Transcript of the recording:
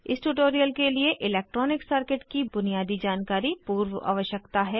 इस ट्यूटोरियल के लिए इलैक्ट्रॉनिक सर्किट की बुनियादी जानकारी पूर्व आवश्यकता है